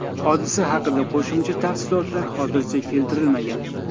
Hodisa haqida qo‘shimcha tafsilotlar hozircha keltirilmagan.